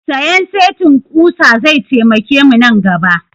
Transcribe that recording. Sayan setin ƙusa zai taimake mu nan gaba